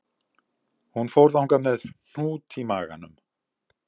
Hún fór þangað með hnút í maganum